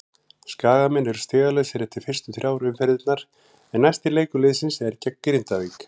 Skagamenn eru stigalausir eftir fyrstu þrjár umferðirnar en næsti leikur liðsins er gegn Grindavík.